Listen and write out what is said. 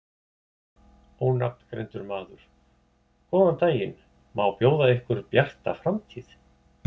Ónafngreindur maður: Góðan daginn, má bjóða ykkur Bjarta framtíð?